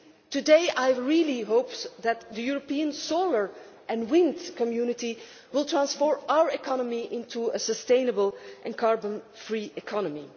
Today I very much hope that the European solar and wind community will transform our economy into a sustainable and carbon free economy.